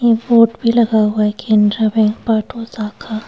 ये वोट भी लगा हुआ है केंद्र बैंक पार्ट वसाखा।